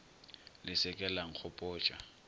le se ke la nkgopotša